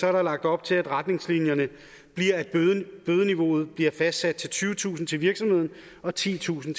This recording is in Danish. er der lagt op til at retningslinjerne bliver at bødeniveauet bliver fastsat til tyvetusind kroner til virksomheden og titusind